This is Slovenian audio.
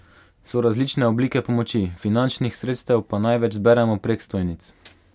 So različne oblike pomoči, finančnih sredstev pa največ zberemo prek stojnic.